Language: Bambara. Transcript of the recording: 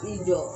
I jɔ